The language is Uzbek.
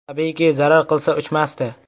Tabiiyki, zarar qilsa, uchmasdi.